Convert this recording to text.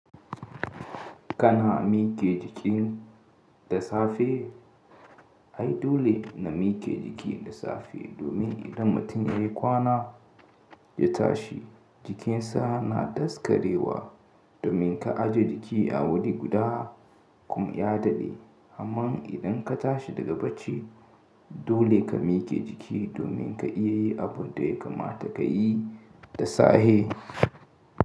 Kana mike jiki da safe? Ai dole na mike jiki da safe domin idan mutum ya yi kwana ya tashi, jikinsa na daskarewa domin ka aje jiki a wuri guda kuma ya dade. Amma idan ka tashi daga bacci dole ka mike jiki domin ka iya yi abun da ya kamata ka yi da safe.